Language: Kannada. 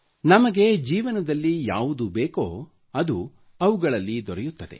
ನಮಗೆ ಜೀವನದಲ್ಲಿ ಯಾವುದು ಬೇಕೋ ಅದು ಅವುಗಳಲ್ಲಿ ದೊರೆಯುತ್ತವೆ